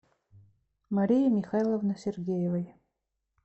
марии михайловны сергеевой